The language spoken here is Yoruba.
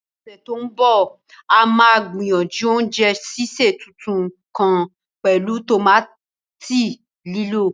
Ní ọ̀sẹ̀ tó ń bọ̀, a máa gbìyànjú oúnjẹ sísè tuntun kan pẹ̀lú tòmátì lílọ̀.